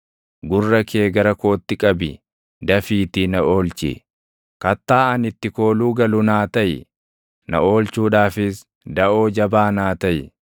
Gurra kee gara kootti qabi; dafiitii na oolchi; kattaa ani itti kooluu galu naa taʼi; na oolchuudhaafis daʼoo jabaa naa taʼi.